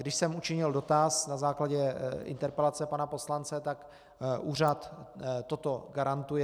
Když jsem učinil dotaz na základě interpelace pana poslance, tak úřad toto garantuje.